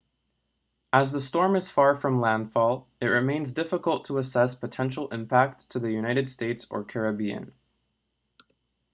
as the storm is far from landfall it remains difficult to assess potential impact to the united states or caribbean